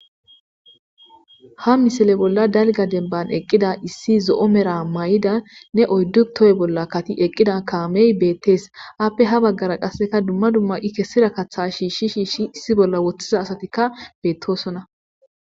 Ha misile bolla dalga denban eqqida issi zo7o mera may7ida ne oyddu toy bolla kati eqqida kaamey beettees appe ha baggara qasseka dumma dumma i kessira katha shiishshi shiishshi issi bolla woththiza asatikka beettosonna.